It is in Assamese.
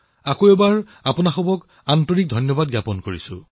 পুনৰবাৰ আপোনালোক সকলোকে আন্তৰিক ধন্যবাদ যাচিছো